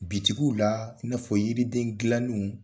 Bitikiw la i n'a fɔ yiriden dilannenw